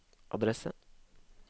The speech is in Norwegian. adresse